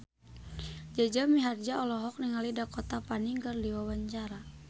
Jaja Mihardja olohok ningali Dakota Fanning keur diwawancara